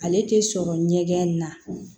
Ale tɛ sɔrɔ ɲɛgɛn in na